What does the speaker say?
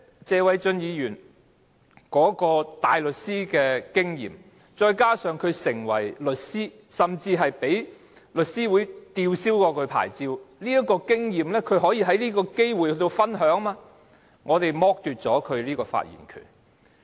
謝偉俊議員當大律師，並在轉業為律師後曾被香港律師會吊銷牌照的經驗，本應可藉此機會與大家分享，但他的發言權卻被剝奪。